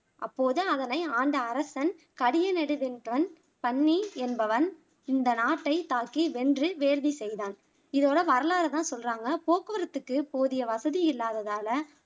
அப்போது அதனை ஆண்ட அரசன் கடியநெடு வென்பன் என்பவன் இந்த நாட்டை தாக்கி வென்று வேள்வி செய்தான் இதோட வரலாற தான் சொல்லுறாங்க போக்குவரத்துக்கு போதிய வசதி இல்லாததால